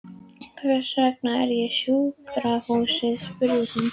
Hvers vegna er ég á sjúkrahúsi? spurði hann.